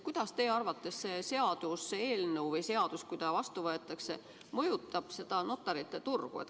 Kuidas teie arvates see seaduseelnõu või seadus, kui ta vastu võetakse, mõjutab notarite turgu?